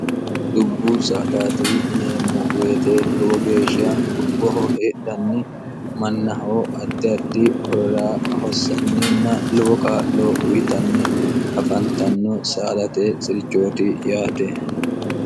dubbu saadati ineemmo weete lowo geeshsha dubboho heedhanni mannahoo addi ardi horora hossanninna lowo kaa'loo uyitanni afantanno saalate sirichooti yaate